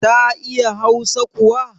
Ta iya hausa kuwa?